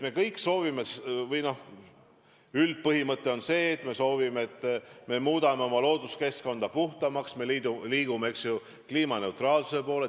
Me kõik soovime muuta oma looduskeskkonda puhtamaks, me liigume kliimaneutraalsuse poole.